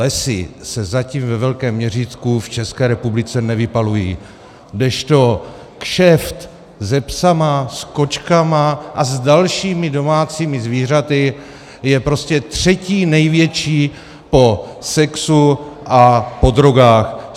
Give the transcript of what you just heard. Lesy se zatím ve velkém měřítku v České republice nevypalují, kdežto kšeft se psy, s kočkami a s dalšími domácími zvířaty je prostě třetí největší po sexu a po drogách.